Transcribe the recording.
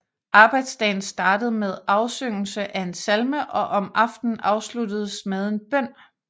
Arbejdsdagen startede med afsyngelse af en salme og om aftenen afsluttedes med en bøn